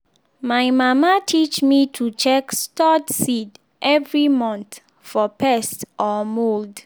my mama teach me to check stored seed every month for pest or mould.